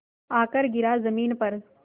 आकर गिरा ज़मीन पर